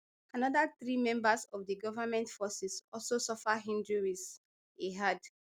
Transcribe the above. anoda three members of di government forces also suffer injuries e add